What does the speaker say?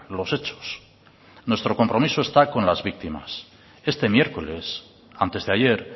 los hechos nuestro compromiso esta con las víctimas este miércoles antes de ayer